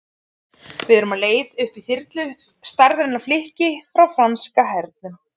Við erum á leið upp í þyrlu, stærðar flikki frá franska hernum.